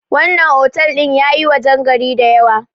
wannan otal din ya yi wajen gari da yawa